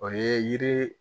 O ye yiri